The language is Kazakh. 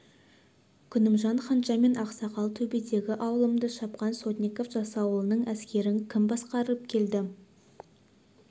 күнімжан ханша мен ақсақал төбедегі аулымды шапқан сотников жасауылдың әскерін кім басқарып келді